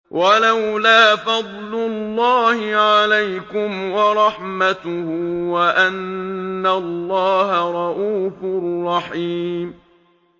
وَلَوْلَا فَضْلُ اللَّهِ عَلَيْكُمْ وَرَحْمَتُهُ وَأَنَّ اللَّهَ رَءُوفٌ رَّحِيمٌ